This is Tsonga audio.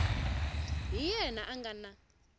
hi yena a nga na